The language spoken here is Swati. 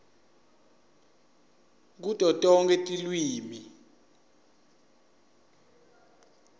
kuto tonkhe tilwimi